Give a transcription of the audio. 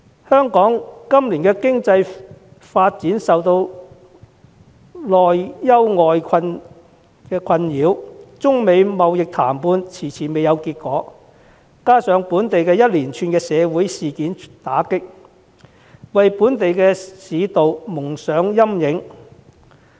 香港今年的經濟發展內外交困，中美貿易談判遲遲未有結果，加上本地一連串的社會事件打擊，令本地市道蒙上陰影。